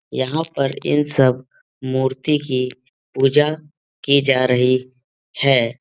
यहाँ पर इन सब मूर्ति की पूजा की जा रही है।